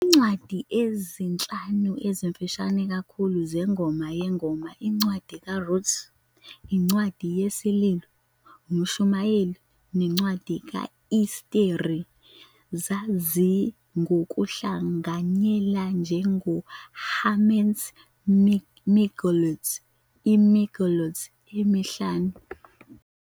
Izincwadi ezinhlanu ezimfishane kakhulu zeNgoma Yezingoma, iNcwadi kaRuth, iNcwadi yesiLilo, uMshumayeli, neNcwadi ka-Esteri zaziwa ngokuhlanganyela njenge- "Ḥamesh Megillot", iMegillot emihlanu.